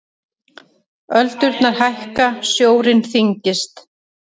Öldurnar hækka, sjórinn þyngist.